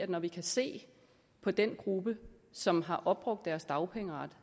når vi ser på den gruppe som har opbrugt deres dagpengeret